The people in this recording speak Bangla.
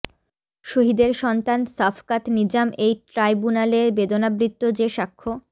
শহীদের সন্তান সাফকাত নিজাম এই ট্রাইব্যুনালে বেদনাবৃত যে সাক্ষ্য